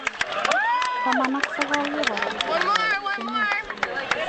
Taman ak sogol kiborostoo koooncheet.